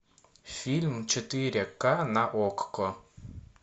фильм четыре ка на окко